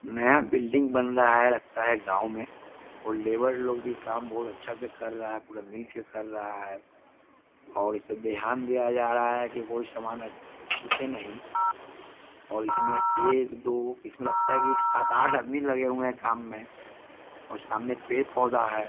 नया बिल्डिंग बन रहा है लगता है गांव में और लेबर लोग भी काम बहुत अच्छा से कर रहा है पुरा मिलकर कर रहा है और ध्यान दिया जा रहा है कि कोई समान छूटे नहीं और इसमें एक दो इसमें लगता है कि सात आठ आदमी लगे हुए हैं काम में और सामने पेड़ पौधा है।